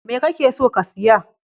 Me kake so ka siya?